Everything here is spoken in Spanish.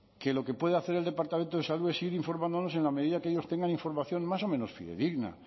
que lo que puede hacer el departamento de salud es ir informándonos en la medida que ellos tengan información más o menos fidedigna